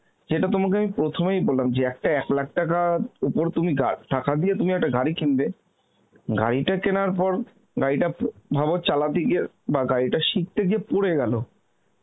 যেটা আমি তোমায় প্রথমেই বললাম যে একটা এক lakh টাকার ওপর তুমি গা~ টাকা দিয়ে তুমি একটা গাড়ি কিনবে, গাড়িটা কেনার পর গাড়িটা প~ ভাব চালাতে গিয়ে বা গাড়িটা শিখতে গিয়ে পরে গেলো